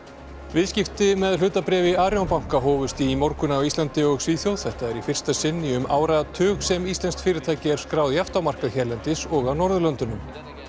viðskipti með hlutabréf í Arion banka hófust í morgun á Íslandi og Svíþjóð þetta er í fyrsta sinn í um áratug sem íslenskt fyrirtæki er skráð jafnt á markað hérlendis og á Norðurlöndunum